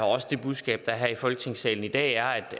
også det budskab der er her i folketingssalen i dag er